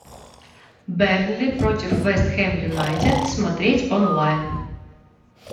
бернли против вест хэм юнайтед смотреть онлайн